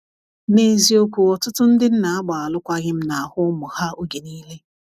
na eziokwu, ọtụtụ ndi nna agba alụkwaghim na ahụ ụmụ ha oge niile